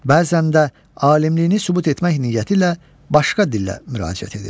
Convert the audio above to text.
Bəzən də alimliyini sübut etmək niyyəti ilə başqa dillə müraciət edir.